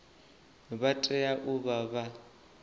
vha tea u vha vha